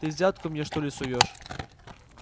ты взятку мне что ли суёшь